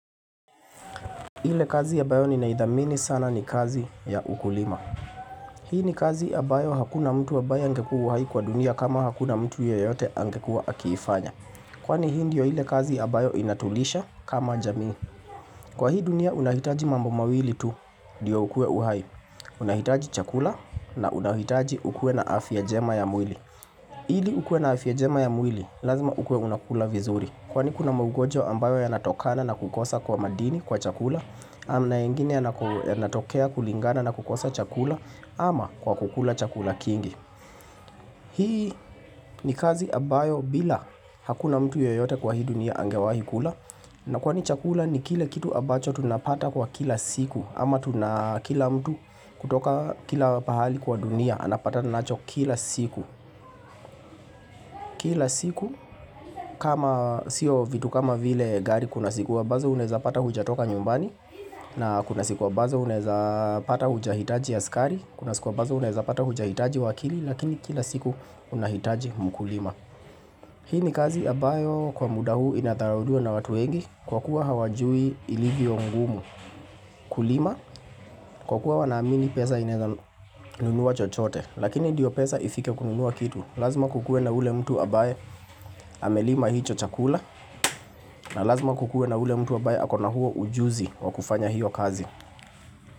Ile kazi ya ambayo ninaithamini sana ni kazi ya ukulima. Hii ni kazi ambayo hakuna mtu ambaye angekuwa uhai kwa dunia kama hakuna mtu yeyote angekua akiifanya Kwani hii ndio ile kazi ambayo inatulisha kama jamii. Kwa hii dunia unahitaji mambo mawili tu ndio ukue uhai. Unahitaji chakula na unahitaji ukue na afya njema ya mwili. Ili ukue na afya njema ya mwili lazima ukue unakula vizuri. Kwani kuna maugonjwa ambayo yanatokana na kukosa kwa madini kwa chakula na mengini yanatokea kulingana na kukosa chakula ama kwa kukula chakula kingi Hii ni kazi ambayo bila hakuna mtu yoyote kwa hii dunia angewahi kula na kwani chakula ni kile kitu ambacho tunapata kwa kila siku ama tunakila mtu kutoka kila pahali kwa dunia anapatata nacho kila siku Kila siku kama sio vitu kama vile gari kuna sikuwa ambazo unaweza pata hujatoka nyumbani na kuna siku ambazo unaweza pata hujahitaji askari, kuna siku ambazo unaweza pata hujahitaji wakili lakini kila siku unahitaji mkulima. Hii ni kazi ambayo kwa muda huu inadharauliwa na watu wengi kwakuwa hawajui ilivyo ngumu. Kulima kwa kuwa wanaamini pesa inaweza nunua chochote lakini ndiyo pesa ifike kununua kitu. Lazima kukue na ule mtu ambaye amelima hicho chakula na lazima kukue na ule mtu ambaye akona huo ujuzi wakufanya hiyo kazi.